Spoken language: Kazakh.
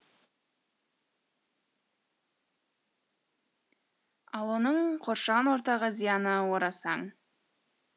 ал оның қоршаған ортаға зияны орасан